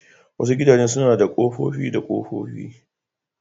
Wasu gidajen suna da kofofi da kofofi.